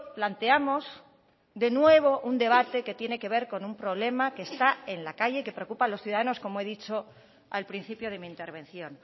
planteamos de nuevo un debate que tiene que ver con un problema que está en la calle que preocupa a los ciudadanos como he dicho al principio de mi intervención